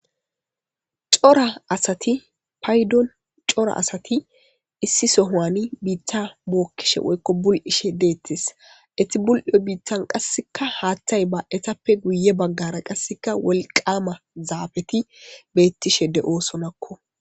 Cora asati paydon cora asati issi sohoani biittha bookkishe woykko bul'ishe deettes eti bul'yo biittan qasseka haaththay ba'tappe guye baggara qasseka wolqama zaabeti betishe de'sonakko.